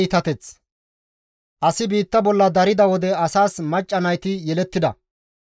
Asi biitta bolla darida wode asas macca nayti yelettida;